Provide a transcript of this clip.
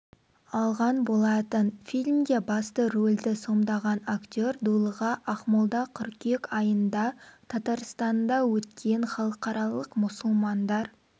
алған болатын фильмде басты рөлді сомдаған актер дулыға ақмолда қыркүйек айында татарстанда өткен халықаралық мұсылмандар